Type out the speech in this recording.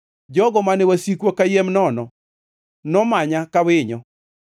Jogo mane wasika kayiem nono nomanya ka winyo.